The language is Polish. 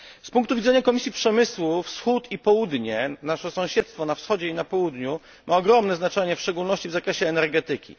Z punktu widzenia Komisji Przemysłu, nasze sąsiedztwo na Wschodzie i Południu ma ogromne znaczenie w szczególności w zakresie energetyki.